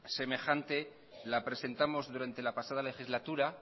semejante la presentamos durante la pasada legislatura